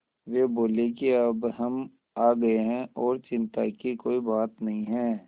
वे बोले कि अब हम आ गए हैं और चिन्ता की कोई बात नहीं है